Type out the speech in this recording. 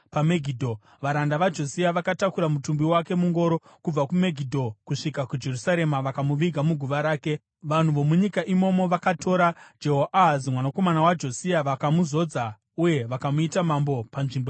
Varanda vaJosia vakatakura mutumbi wake mungoro kubva kuMegidho kusvika kuJerusarema vakamuviga muguva rake. Vanhu vomunyika imomo vakatora Jehoahazi mwanakomana waJosia vakamuzodza uye vakamuita mambo panzvimbo yababa vake.